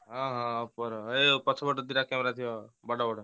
ହଁ ହଁ Oppo ର ପଛ ପଟେ ଦିଟା camera ଥିବ ବଡ଼ ବଡ଼।